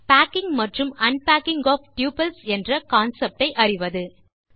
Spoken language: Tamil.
பேக்கிங் மற்றும் அன்பேக்கிங் ஒஃப் டப்பிள்ஸ் என்ற கான்செப்ட் ஐ அறிவது